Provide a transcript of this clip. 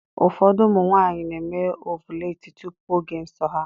Ụfọdụ ụmụ nwaanyị na-eme ọvụletị tupu oge nsọ ha.